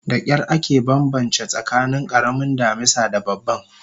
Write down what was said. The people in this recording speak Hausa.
Dakyar ake banbance tsakanin karamin damisa da babban